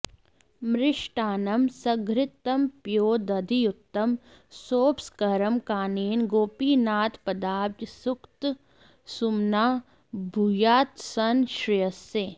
मृष्टान्नं सघृतं पयोदधियुतं सोपस्करं कानने गोपीनाथपदाब्ज सक्तसुमनाः भूयात्सनः श्रेयसे